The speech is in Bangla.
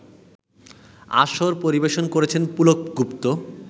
আসর পরিবেশন করেছেন পুলক গুপ্ত